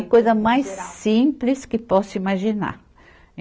A coisa mais simples que possa imaginar.